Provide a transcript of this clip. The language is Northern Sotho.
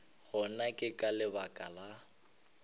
gona ke ka lebaka la